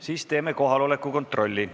Siis teeme kohaloleku kontrolli.